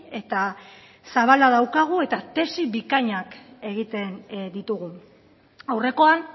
eta zabala daukagu eta tesi bikainak egiten ditugu aurrekoan